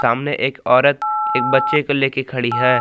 सामने एक औरत एक बच्चे को लेकर खड़ी है।